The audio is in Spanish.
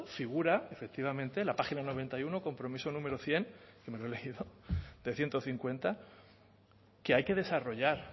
figura efectivamente la página noventa y uno compromiso número cien que me lo he leído de ciento cincuenta que hay que desarrollar